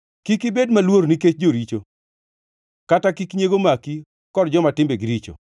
Kik ibed maluor nikech joricho kata kik nyiego maki kod joma timbegi richo,